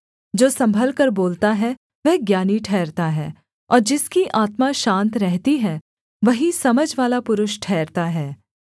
जो सम्भलकर बोलता है वह ज्ञानी ठहरता है और जिसकी आत्मा शान्त रहती है वही समझवाला पुरुष ठहरता है